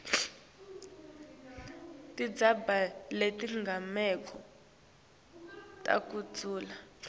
tindzaba tetigameko takudzala